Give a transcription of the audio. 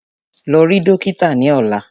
Lọ rí dókítà ni ọ̀la!